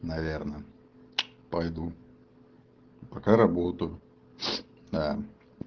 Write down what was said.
наверное пойду пока работу да